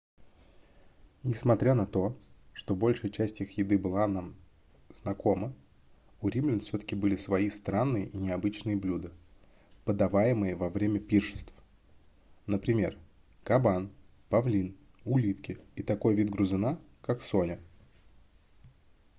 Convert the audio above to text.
несмотря на то что большая часть их еды была бы нам знакома у римлян всё-таки были свои странные и необычные блюда подаваемые во время пиршеств например кабан павлин улитки и такой вид грызуна как соня